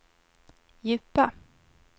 djupa